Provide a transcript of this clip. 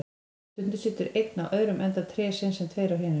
Stundum situr einn á öðrum enda trésins, en tveir á hinum.